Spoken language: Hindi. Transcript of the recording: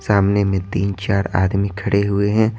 सामने में तीन-चार आदमी खड़े हुए हैं।